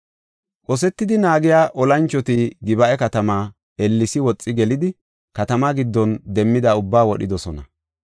Qosetidi naagiya olanchoti Gib7a katamaa ellesi woxi gelidi katamaa giddon demmida ubbaa wodhidosona.